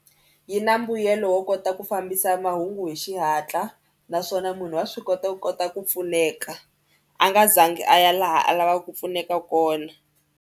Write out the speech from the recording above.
Yi na mbuyelo wo kota ku fambisa mahungu hi xihatla naswona munhu wa swi kota ku kota ku pfuneka a nga za ngi a ya laha a lavaka ku pfuneka kona.